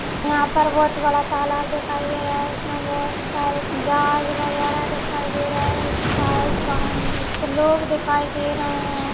यहाँ पर बहोत बड़ा तालाब दिखाई दे रहा है उसमे बहोत सारे जहाज वगेरा दिखाई दे रहे है साइड वहाँ कुछ लोग दिखाई दे रहे है।